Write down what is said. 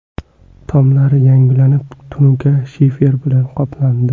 Tomlari yangilanib, tunuka shifer bilan qoplandi.